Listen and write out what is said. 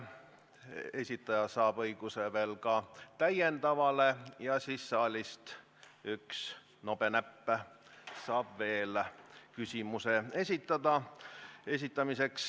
Põhiküsimuse esitajal on õigus veel täiendavale küsimusele ja saalist üks nobenäpp saab veel küsimuse esitada.